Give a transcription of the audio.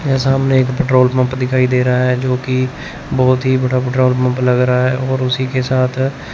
मेरे सामने एक पेट्रोल पंप दिखाई दे रहा है जो कि बहोत ही बड़ा पेट्रोल पंप लग रहा है और उसी के साथ--